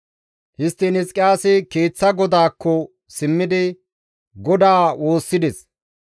Histtiin Hizqiyaasi keeththa godaakko simmidi GODAA woossides.